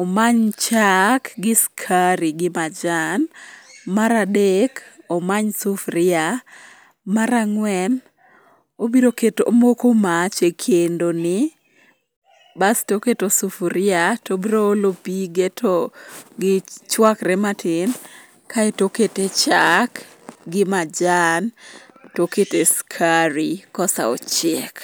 omany chak gi skari gi majan. Mar adek omany sufria. Mar ang'wen obiro moko mach e kendoni basto oketo sufuria tobroolo pige to chwakre matin kaeto okete chak gi majan tokete skari kosaochiek.